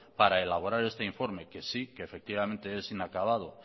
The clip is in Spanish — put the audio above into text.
para elaborar ese informe que sí que efectivamente es inacabado